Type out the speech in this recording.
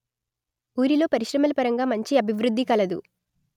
ఊరిలో పరిశ్రమల పరంగా మంచి అభివృద్ది కలదు